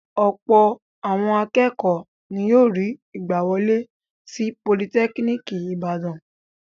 Ọ̀pọ̀ àwọn akẹ́kọ̀ọ́ ni yóò rí ìgbàwọlé sí Politẹ́kíníkì Ìbàdàn.